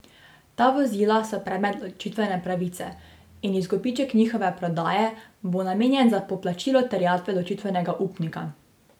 Ta vozila so predmet ločitvene pravice in izkupiček njihove prodaje bo namenjen za poplačilo terjatve ločitvenega upnika.